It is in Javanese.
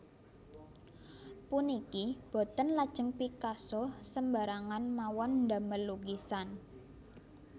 Puniki boten lajeng Picasso sembarangan mawon ndamel lukisan